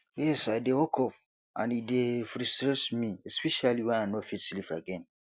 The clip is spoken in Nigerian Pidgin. yes i dey wake up and e dey frustrate me especially when i no fit sleep again